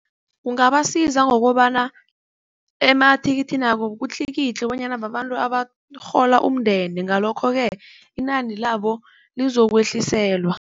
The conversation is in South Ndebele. Kungabasiza ngokobana emathikithinabo kutlikitlwe bonyana babantu abarhola umndende, ngalokho-ke inani labo lizokwehliselwa.